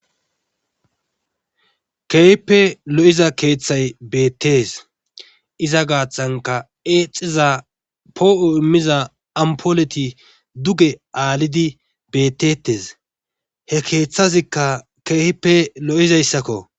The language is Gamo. Keehippe lo'iza keethay beetees. iza gaaththankka eexiza poo'o imiza ampuleti beetetes. he keethazikka keehippe lo'izayssakko.